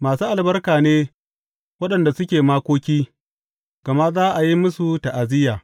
Masu albarka ne waɗanda suke makoki, gama za a yi musu ta’aziyya.